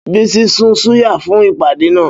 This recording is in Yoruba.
Bísí sun súyà fún ìpàdé náà.